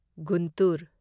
Guntur